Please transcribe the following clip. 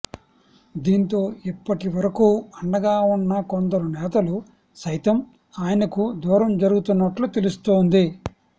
దీంతో ఇప్పటి వరకూ అండగా ఉన్న కొందరు నేతలు సైతం ఆయనకు దూరం జరుగుతున్నట్లు తెలుస్తోం ది